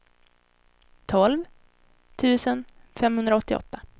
tolv tusen femhundraåttioåtta